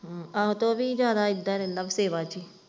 ਆਹੋ ਤੇ ਉਹ ਵੀ ਜਿਆਦਾ ਇੱਦਾਂ ਰਹਿੰਦਾ ਸੇਵਾ ਚ।